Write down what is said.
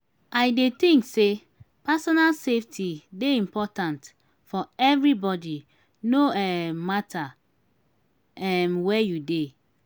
i dey think say personal safety dey important for everybody no um matter um where you dey.